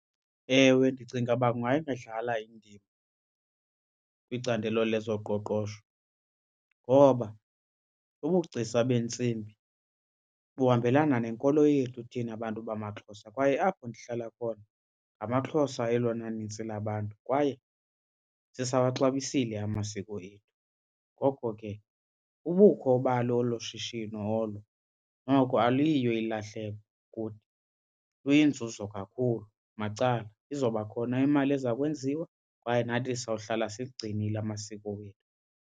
Ewe, ndicinga uba kungayidlala indima kwicandelo lezoqoqosho ngoba ubugcisa beentsimbi buhambelana nenkolo yethu thina bantu bamaXhosa kwaye apho ndihlala khona ngamaXhosa elona nintsi labantu, kwaye sisawaxabisile amasiko ethu. Ngoko ke ubukho balo olo shishino olo noko aluyiyo ilahleko kuthi, kuyinzuzo kakhulu. Macala, izoba khona imali eza kwenziwa kwaye nathi sawuhlala sigcinile amasiko wethu.